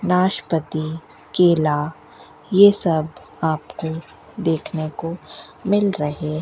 नाशपाती केला ये सब आपको देखने को मिल रहे --